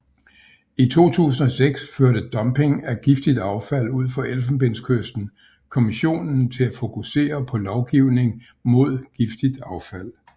I 2006 førte dumpning af giftigt affald ud for Elfenbenskysten Kommissionen til at fokusere på lovgivning mod giftigt affald